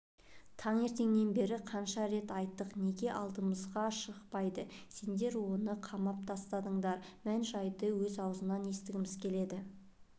таңертеңнен бері қанша рет айттық неге алдымызға шықпайды сендер оны қамап тастадыңдар мән-жайды өз аузынан естігіміз келеді